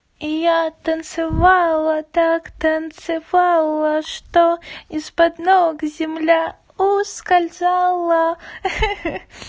и я танцевала так танцевала что из под ног земля ускользала хи-хи